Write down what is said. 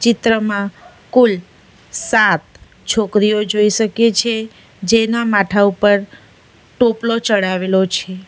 ચિત્રમાં કુલ સાત છોકરીઓ જોઈ શકીએ છે જેના માથા ઉપર ટોપલો ચડાવેલો છે.